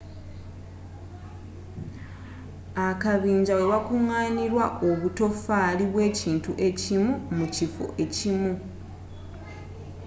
akabinja wewakunganirwa obutofaali bwekintu ekimu mu kifo ekimu